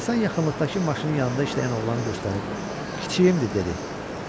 Həsən yaxınlıqdakı maşının yanında işləyən oğlanı göstərib, kiçiyimdir, dedi.